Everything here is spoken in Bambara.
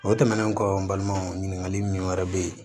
O tɛmɛnen kɔ n balimaw ɲininkali min wɛrɛ bɛ yen